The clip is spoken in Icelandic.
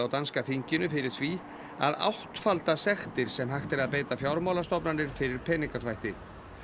danska þinginu fyrir því að áttfalda sektir sem hægt er að beita fjármálastofnanir fyrir peningaþvætti